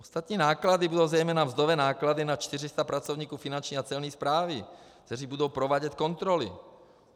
Ostatní náklady budou zejména mzdové náklady na 400 pracovníků Finanční a Celní správy, kteří budou provádět kontroly.